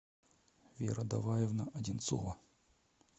вера доваевна одинцова